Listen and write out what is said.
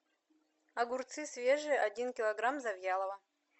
огурцы свежие один килограмм завьялово